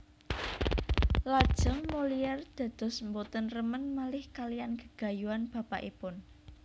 Lajeng Molière dados boten remen malih kalihan gegayuhan bapakipun